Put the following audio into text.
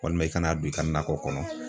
Walima i kana don i ka nakɔ kɔnɔ